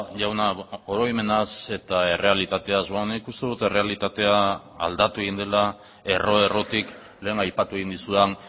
jauna oroimenaz eta errealitateaz nik uste dut errealitatea aldatu egin dela erro errotik lehen aipatu egin dizudan